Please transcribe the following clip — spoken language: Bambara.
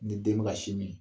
Ni den ka sinmin